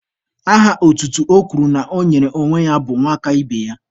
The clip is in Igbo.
Aha otutu o kwuru na ọ nyere onwe ya bụ 'nwakaibeya'